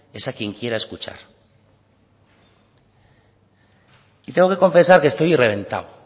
es quien quiera escuchar y tengo que confesar que estoy reventado